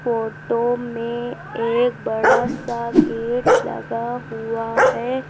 Photo में एक बड़ा सा गेट लगा हुआ है।